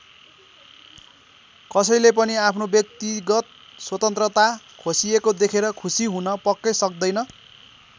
कसैले पनि आफ्नो व्यक्तिगत स्वतन्त्रता खोसिएको देखेर खुसी हुन पक्कै सक्दैन।